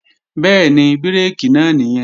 Bẹ́ẹ̀ni, bírèkì náà nìyẹn